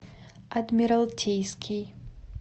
адмиралтейский